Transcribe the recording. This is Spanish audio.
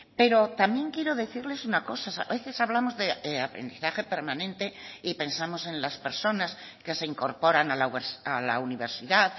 pero también quiero decirles una cosa a veces hablamos de aprendizaje permanente y pensamos en las personas que se incorporan a la universidad